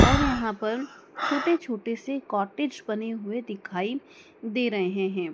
और यहां पर छोटे छोटे से बने हुए दिखाई दे रहे हैं।